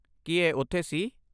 ਕੀ ਇਹ ਉੱਥੇ ਸੀ?